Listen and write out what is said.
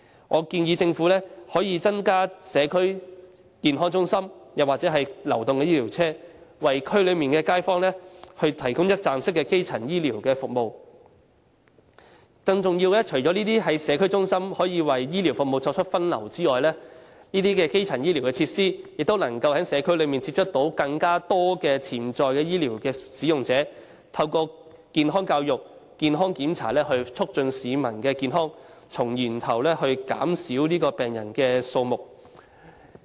我建議政府增設社區健康中心或流動醫療車，為區內街坊提供一站式基層醫療服務；更重要的是，除了可以為醫療服務作出分流外，這些基層醫療設施亦能在社區內接觸更多潛在醫療服務使用者，透過健康教育和檢查，促進市民健康，從源頭減少病人數目。